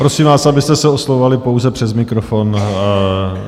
Prosím vás, abyste se oslovovali pouze přes mikrofon.